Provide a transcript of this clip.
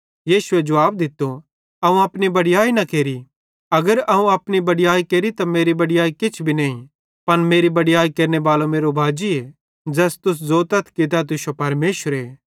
यीशुए जुवाब दित्तो अगर अवं अपनी बड़याई केरि त मेरी बड़याई किछ भी नईं पन मेरी बड़याई केरनेबालो मेरो बाजीए ज़ैस तुस ज़ोतथ कि तै तुश्शो परमेशरे